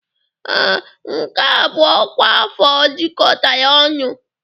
Ee, nke a bụ ọkwa afọ jikọtara ọnụ.